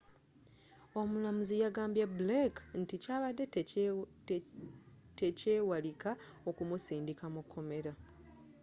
omulamuzzi yagambye blake nti kyabadde tekyewalika okumusindika mukomera